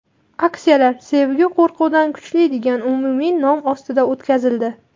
Aksiyalar "Sevgi qo‘rquvdan kuchli" degan umumiy nom ostida o‘tkazildi.